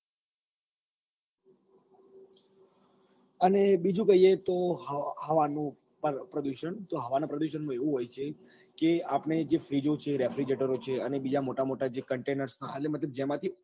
અને બીજું કહીએ તો હવાનું પ્રદુષણ તો હવા ના પ્રદુષણ નું એવું હોય છે કે આપડે જે freeze ઓ છે refrigerator ઓ છે અને બીજા મોટા મોટા જે containers એ એટલે મતલબ જેમાંથી